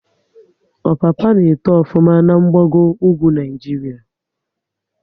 Ọpapa n'eto ofuma na gbago ugwu Naịjiria